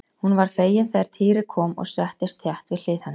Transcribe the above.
Hún varð fegin þegar Týri kom og settist þétt við hlið hennar.